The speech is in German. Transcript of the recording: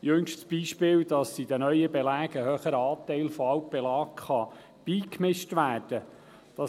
Das jüngste Beispiel ist, dass in den neuen Belägen ein höherer Anteil von Altbelag beigemischt werden kann.